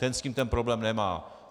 Ten s tím ten problém nemá.